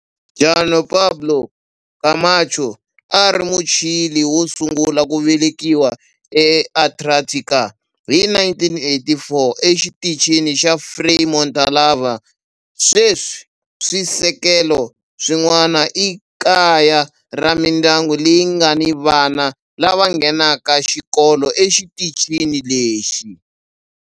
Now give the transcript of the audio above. Juan Pablo Camacho a a ri Muchile wo sungula ku velekiwa eAntarctica hi 1984 exitichini xa Frei Montalva. Sweswi swisekelo swin'wana i kaya ra mindyangu leyi nga ni vana lava nghenaka xikolo exitichini lexi.